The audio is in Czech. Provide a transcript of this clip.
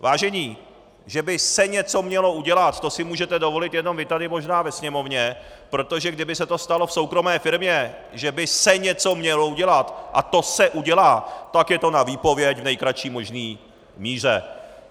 Vážení, že by se(!) něco mělo udělat, to si můžete dovolit jenom vy tady možná ve Sněmovně, protože kdyby se to stalo v soukromé firmě, že by se(!) něco mělo udělat a to se(!) udělá, tak je to na výpověď v nejkratší možné míře.